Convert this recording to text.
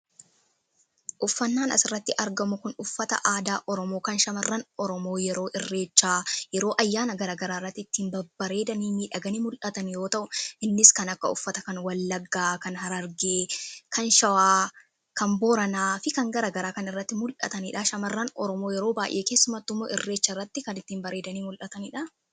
Uffannaan as irratti argamu kun uffata aadaa oromoo kan shamarran oromoo yeroo irreechaa yeroo ayyaana garagaraa irratti ittiin bareedanii miidhaganii mul'atan yoo ta'u innis kan akka uffata kan wallaggaa ,kan hararge, kan shawaa kan booranaa fi kan garagaraa kan irratti mul'ataniidha. Shamarran oromoo yeroo baay'ee keessumattiumoo irreecha irratti kan ittiin bareedanii mul'ataniidha.